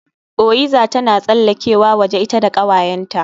Oyiza tana tsallakewa waje ita da kawayenta